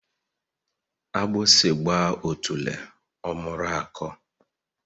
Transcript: Agbasi gba otule omuru ako